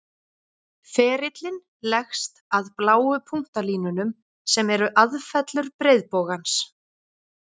Ferillinn leggst að bláu punktalínunum, sem eru aðfellur breiðbogans.